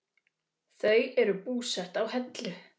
Þau eru búsett á Hellu.